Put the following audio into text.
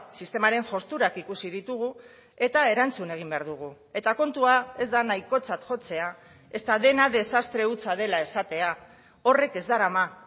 sistemaren josturak ikusi ditugu eta erantzun egin behar dugu eta kontua ez da nahikotzat jotzea ezta dena desastre hutsa dela esatea horrek ez darama